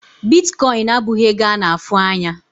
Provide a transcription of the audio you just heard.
Bitkọịn abụghị ego a na-afụ anya.